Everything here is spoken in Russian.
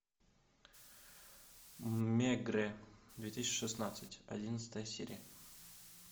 мегре две тысячи шестнадцать одиннадцатая серия